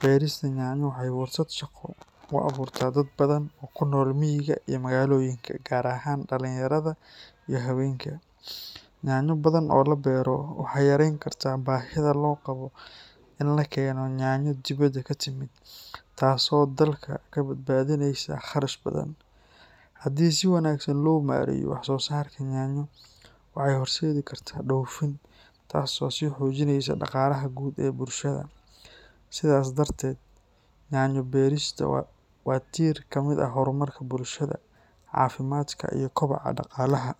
beerista yaanyo waxay fursad shaqo u abuurtaa dad badan oo ku nool miyiga iyo magaalooyinka, gaar ahaan dhallinyarada iyo haweenka. Yaanyo badan oo la beero waxay yarayn kartaa baahida loo qabo in la keeno yaanyo dibadda ka timid, taasoo dalka ka badbaadinaysa kharash badan. Haddii si wanaagsan loo maareeyo wax soo saarka yaanyo, waxay horseedi kartaa dhoofin, taasoo sii xoojinaysa dhaqaalaha guud ee bulshada. Sidaas darteed, yaanyo-beeristu waa tiir ka mid ah horumarka bulshada, caafimaadka iyo kobaca dhaqaalaha.